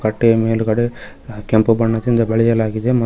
ಕಟ್ಟೆಯ ಮೇಲ್ಗಡೆ ಕೆಂಪು ಬಣ್ಣದಿಂದ ಬಳಿಯಲಾಗಿದೆ ಮ--